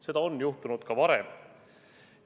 Seda on juhtunud ka varem.